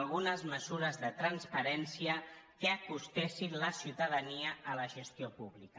algunes mesures de transparència que acostessin la ciutadania a la gestió pública